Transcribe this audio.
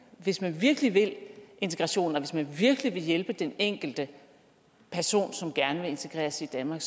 hvis man virkelig vil integrationen og hvis man virkelig vil hjælpe den enkelte person som gerne vil integreres i danmark